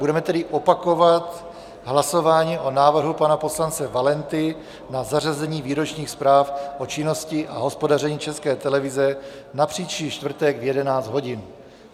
Budeme tedy opakovat hlasování o návrhu pana poslance Valenty na zařazení výročních zpráv o činnosti a hospodaření České televize na příští čtvrtek v 11 hodin.